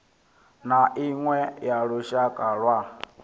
na iṅwe ya lushaka lwa